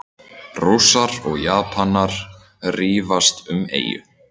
Rússar og Japanar rífast um eyju